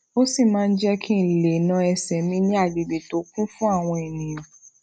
ó sì máa ń jé kí n lè na ẹsẹ mi ni agbegbe to kun fun awọn eniyan